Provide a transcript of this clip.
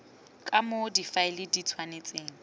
ka moo difaele di tshwanetseng